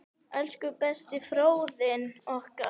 Elsku besti Friðjón okkar.